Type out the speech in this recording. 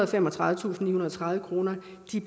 og femogtredivetusindnihundrede og tredive kroner